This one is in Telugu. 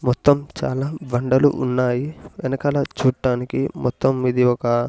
మొత్తం చాలా బండలు ఉన్నాయి వెనకాల చూట్టానికి మొత్తం ఇది ఒక--